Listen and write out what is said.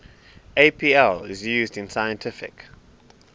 apl is used in scientific